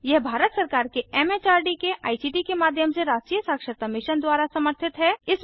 यह भारत सरकार के एमएचआरडी के आईसीटी के माध्यम से राष्ट्रीय साक्षरता मिशन द्वारा समर्थित है